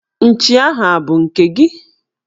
Nchi ahụ abụ nke gị?